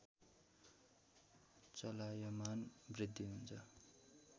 चलायमान वृद्धि हुन्छ